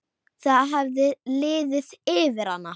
Það hafði liðið yfir hana!